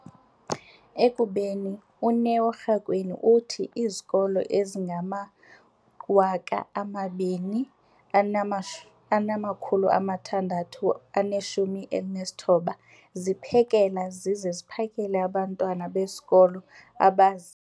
ekubeni, uNeo Rakwena, uthi izikolo ezingama-20 619 ziphekela zize ziphakele abantwana besikolo abazi-